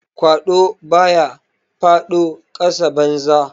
Kwado ba ya fado kasa banza.